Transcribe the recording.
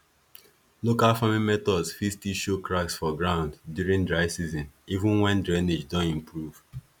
local farming methods fit still show cracks for ground during dry season even when drainage don improve